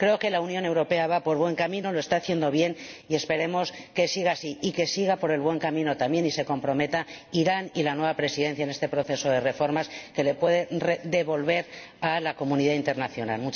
Creo que la Unión Europea va por buen camino, lo está haciendo bien, y esperemos que siga así, y que sigan por el buen camino también y se comprometan Irán y la nueva Presidencia en este proceso de reformas que pueden devolver a este país a la comunidad internacional.